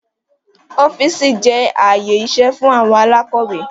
Ọ́fíìsì jẹ́ ààyè iṣẹ́ fún àwọn alákọ́wẹ́